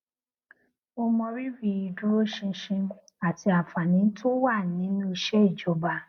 mo mọrírì ìdúróṣinṣin àti àǹfààní tó wà nínú iṣẹ ìjọba